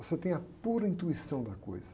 Você tem a pura intuição da coisa.